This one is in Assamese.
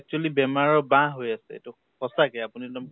actually বেমাৰ ৰ বাহ হৈ আছে । এইটো সচাঁকে আপুনি একদম।